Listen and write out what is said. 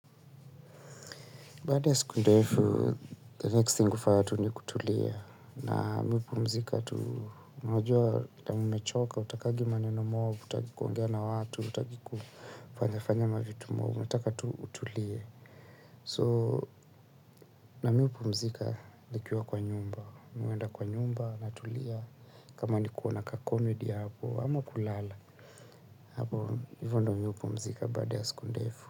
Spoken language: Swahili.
Baada ya siku ndefu, the next thing kufaya tu ni kutulia. Na mi hupumzika tu unajua vile umechoka, utakangi maneno mob, hutaki kuongea na watu, hutaki kufanya fanya mavitu mob, unataka tu utulie. So na mi hupumzika, nikiwa kwa nyumba, mi huenda kwa nyumba, natulia, kama ni kuona ka komedi hapo, ama kulala, hapo hivyo ndo mi hupumzika baada ya siku ndefu.